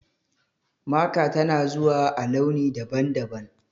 Maka tana zuwa a launi daban-daban.